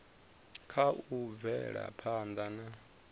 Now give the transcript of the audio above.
kha u bvela phanda na